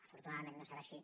afortunadament no serà així